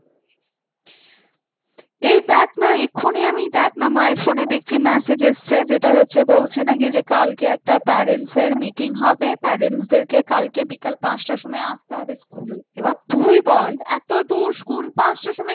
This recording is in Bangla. এই দেখ না এক্ষুনি আমি দেখ না মায়ের ফোনে দেখছি massage আসছে যেটা হচ্ছে বলছে একটা parents meeting হবে parents দেখে বিকাল পাঁচটায় আসতে হবে school এ এবার তুই বল এতদুর school পাঁচটার সময়